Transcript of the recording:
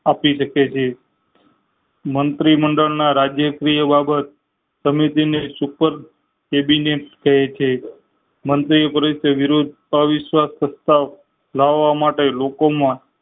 આપી શકે છે મંત્રી મંડળ ના રાજય સી એ બાબત સમીકતી ને સુખદ તેબીનીયત કરે છે મંત્રી ઓ પરિષદ વિરુદ્ધ અવિશ્વાસ સંસ્થા ઓ લાવવા માટે લોકો માં